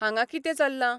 हांगा किते चल्लां?